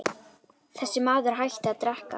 Þessi maður hætti að drekka.